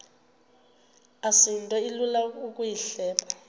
asinto ilula ukuyihleba